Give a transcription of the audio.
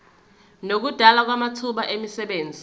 nokudalwa kwamathuba emisebenzi